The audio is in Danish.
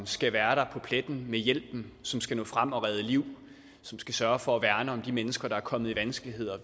skal være der på pletten med hjælpen som skal nå frem og redde liv som skal sørge for at værne om de mennesker der er kommet i vanskeligheder